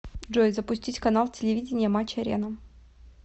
джой запустить канал телевидения матч арена